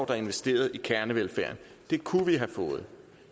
der investerede i kernevelfærden det kunne vi have fået